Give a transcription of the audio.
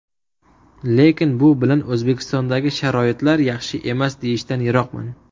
Lekin bu bilan O‘zbekistondagi sharoitlar yaxshi emas, deyishdan yiroqman.